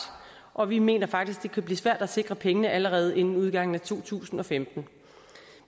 og vi mener faktisk at det kunne blive svært at sikre pengene allerede inden udgangen af to tusind og femten